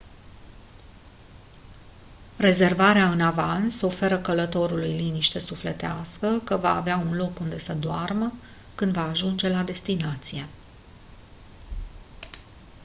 rezervarea în avans oferă călătorului liniște sufletească că va avea un loc unde să doarmă când va ajunge la destinație